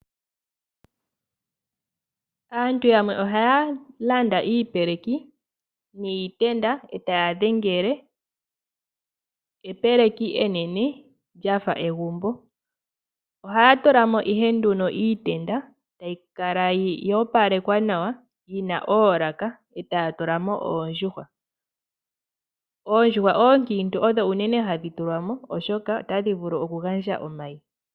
Aantu yamwe ohaya landa iipeleki niitenda etaya dhengele epeleki enene lyafa egumbo. Ohaya tulamo ihe nduno iitenda tayi kala yo opalekwa nawa yina oolaka etaya tulamo oondjuhwa. Oondjuhwa ookiintu odho unene hadhi tulwamo oshoka otadhi vulu okugandja omayi.